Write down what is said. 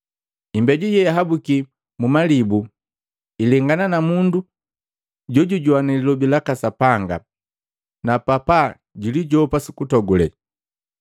Imbeju yeihabuki mmalibu ilengana na mundu jojujoana lilobi laka Sapanga, na papa julijopa sukutogule.